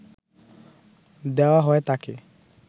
দেওয়া হয় তাকে